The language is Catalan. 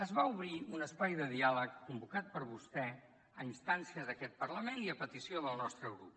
es va obrir un espai de diàleg convocat per vostè a instàncies d’aquest parlament i a petició del nostre grup